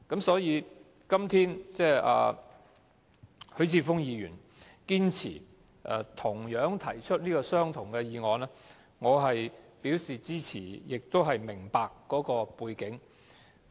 所以，今天許智峯議員堅持提出相同的議案，我表示支持，亦明白當中的背景。